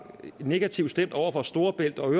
negativt stemt over for storebælts og